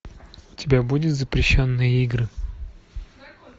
у тебя будет запрещенные игры